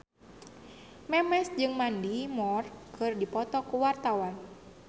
Memes jeung Mandy Moore keur dipoto ku wartawan